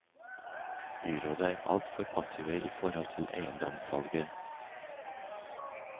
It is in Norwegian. Byrådet er alt for passive i forhold til eiendomssalget.